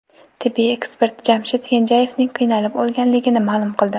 Tibbiy ekspert Jamshid Kenjayevning qiynalib o‘lganligini ma’lum qildi .